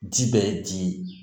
Ji bɛ ji ye